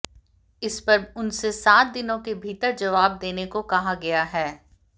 इस पर उनसे सात दिनों के भीतर जवाब देने को कहा गया है